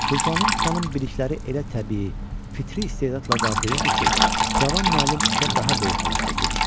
Sultanım xanım bilikləri elə təbii, fitri istedadla qavrayırdı ki, cavan müəllim işə daha böyük həvəslə girişdi.